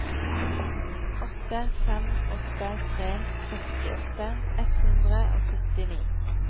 åtte fem åtte tre sekstiåtte ett hundre og syttini